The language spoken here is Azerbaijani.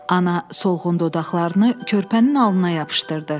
Ana solğun dodaqlarını körpənin alnına yapışdırdı.